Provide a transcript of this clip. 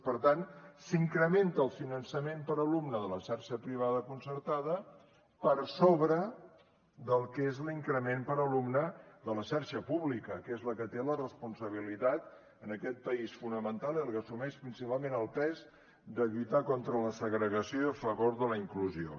per tant s’incrementa el finançament per alumne de la xarxa privada concertada per sobre del que és l’increment per alumne de la xarxa pública que és la que té la responsabilitat en aquest país fonamental i la que assumeix principalment el pes de lluitar contra la segregació i a favor de la inclusió